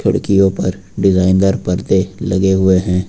खिड़कियों पर डिजाइन दार परदे लगे हुए हैं।